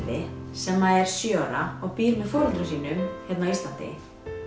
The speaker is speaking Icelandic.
sem er sjö ára og býr með foreldrum hér á Íslandi